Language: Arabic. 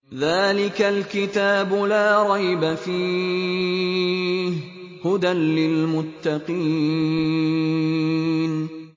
ذَٰلِكَ الْكِتَابُ لَا رَيْبَ ۛ فِيهِ ۛ هُدًى لِّلْمُتَّقِينَ